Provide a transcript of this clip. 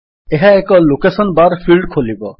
ଏହା ଏକ location bar field ଖୋଲିବ